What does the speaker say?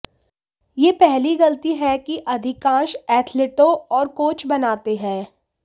यह पहली गलती है कि अधिकांश एथलीटों और कोच बनाते हैं